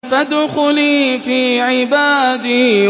فَادْخُلِي فِي عِبَادِي